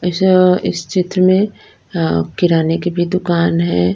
इस अः इस चित्र में अः किराने की भी दुकान है।